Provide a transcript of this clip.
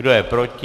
Kdo je proti?